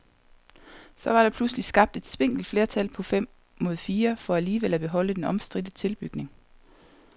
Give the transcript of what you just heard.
Så var der pludselig skabt et spinkelt flertal på fem mod fire for alligevel at beholde den omstridte tilbygning.